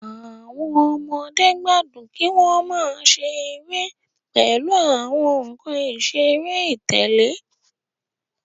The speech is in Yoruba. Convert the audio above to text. Àwọn ọmọdé gbádùn kí wọn máa ṣeré pèlú àwọn nkán iṣere itẹle